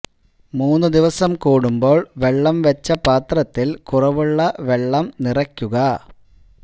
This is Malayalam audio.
മൂന്ന് ദിവസം കൂടുമ്പോൾ വെള്ളം വെച്ച പാത്രത്തിൽ കുറവുള്ള വെള്ളം നിറക്കുക